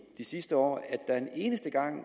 de sidste år en eneste gang